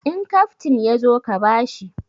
In kaftin ya zo ka ba shi!